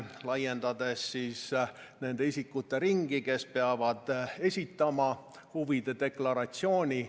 Me laiendame nende isikute ringi, kes peavad esitama huvide deklaratsiooni.